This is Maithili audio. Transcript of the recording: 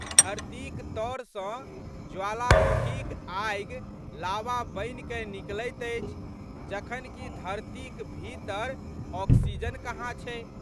धरतीक तऽर सँ ज्वालामुखीक आगि लावा बनिकए निकलैत अछि जखन कि धरतीक भीतर ऑक्सीजन कहाँ छै।